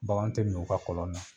Bagan tɛ min u ka kɔlɔn na